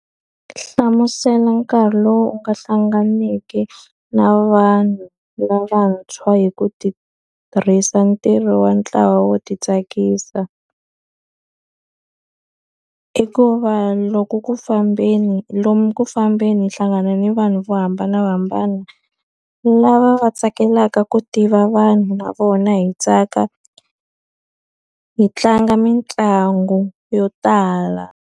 Hlamusela nkarhi lowu u nga hlanganeke na vanhu lavantshwa hi ku tirhisa ntirho wa ntlawa wo ti tsakisa. I ku va loko ku fambeni lomu ku fambeni hi hlangana ni vanhu vo hambanahambana, lava va tsakelaka ku tiva vanhu na vona hi tsaka, hi tlanga mitlangu yo tala.